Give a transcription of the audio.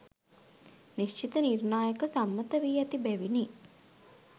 නිශ්චිත නිර්ණායක සම්මත වී ඇති බැවිනි